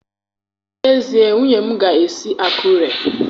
N'ezie, nwunye m ga-esi Akure.